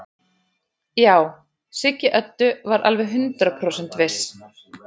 Já, Siggi Öddu var alveg hundrað prósent viss.